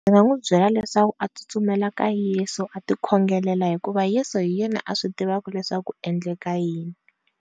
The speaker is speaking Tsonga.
Ndzi n'wi munhu byela leswaku as tsutsumela ka yesu a ti khongelela hikuva yesu hi yena a swi tivaka leswaku ku endleka yini.